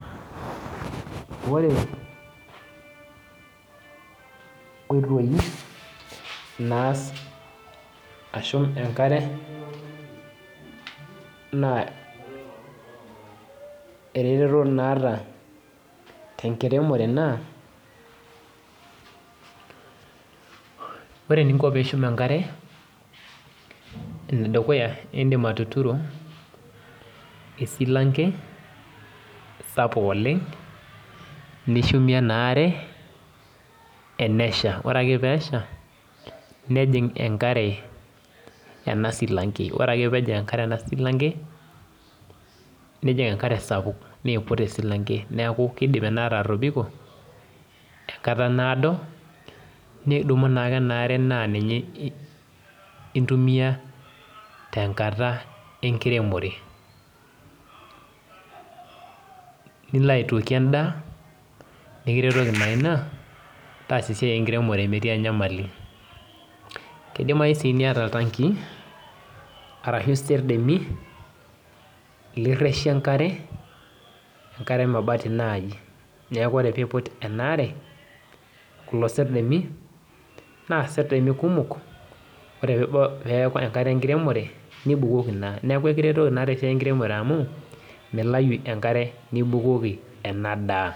Ore nkoitoi naas ashum enkare, naa ereteto naata tenkiremore naa, ore eninko pishum enkare, enedukuya idim atuturu esilanke sapuk oleng, nishumie enaare enesha. Ore ake pesha, nejing enkare ena silanke. Ore ake enkare ena silanke, nejing enkare sapuk. Niiput esilanke. Neeku kidim inaare atobiko, enkata naado, nidumu naake enaare na ninye intumia tenkata enkiremore. Nilo aitokie endaa, nikiretoki naa ina, taasa esiai enkiremore metii enyamali. Kidimayu si niata oltanki, arashu isedemi, lirreshie enkare, enkare emabati nai. Neeku ore piput enaare, kulo serdemi, naa serdemi kumok, ore peku enkata enkiremore, nibukoki naa. Neeku ekiretoki naa tesiai enkiremore amu, milayu enkare nibukoki enadaa.